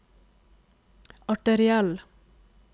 arteriell